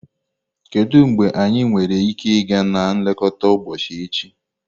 Kedu mgbe anyị nwere ike ịga na nlekọta ụbọchị echi?